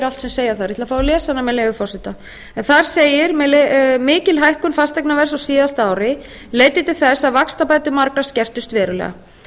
allt sem segja þarf ég ætla að fá að lesa hana með leyfi forseta þar segir mikil hækkun fasteignaverðs á síðasta ári leiddi til þess að vaxtabætur margra skertust verulega